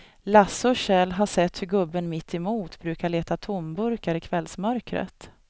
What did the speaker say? Lasse och Kjell har sett hur gubben mittemot brukar leta tomburkar i kvällsmörkret.